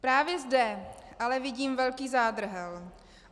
Právě zde ale vidím velký zádrhel.